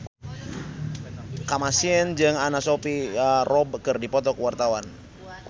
Kamasean jeung Anna Sophia Robb keur dipoto ku wartawan